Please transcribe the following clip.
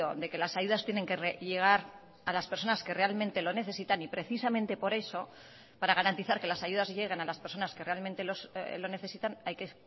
de que las ayudas tienen que llegar a las personas que realmente lo necesitan y precisamente por eso para garantizar que las ayudas lleguen a las personas que realmente lo necesitan hay que